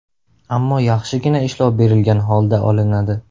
Ammo yaxshigina ishlov berilgan holda olinadi.